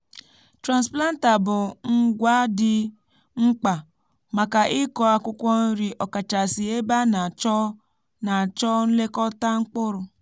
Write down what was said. transplanter bụ ngwá dị mkpa maka ịkụ akwụkwọ nri okachasi ebe a na-achọ na-achọ nlekọta mkpụrụ.